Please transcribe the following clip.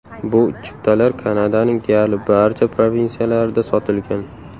Bu chiptalar Kanadaning deyarli barcha provinsiyalarida sotilgan.